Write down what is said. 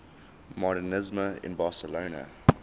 modernisme in barcelona